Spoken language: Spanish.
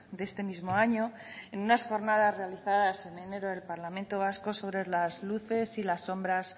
de este mismo año en unas jornadas realizadas en enero del parlamento vasco sobre las luces y las sombras